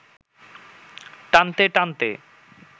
টানতে টানতে